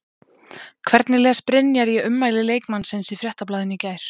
Hvernig les Brynjar í ummæli leikmannsins í Fréttablaðinu í gær?